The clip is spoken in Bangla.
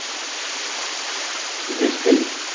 বৃষ্টি